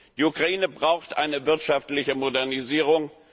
Die Ukraine braucht eine wirtschaftliche Modernisierung.